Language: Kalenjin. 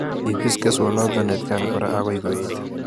Ibis keswonoto atkan kora agoi koet